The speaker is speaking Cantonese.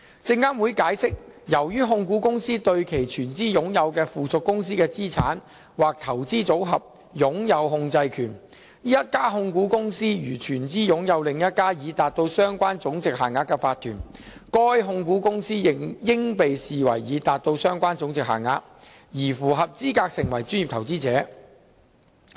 證監會解釋，由於控股公司對其全資擁有的附屬公司的資產或投資組合擁有控制權，一家控股公司如全資擁有另一家已達到相關總值限額的法團，該控股公司應被視為已達到相關總值限額，而符合資格成為專業投資者。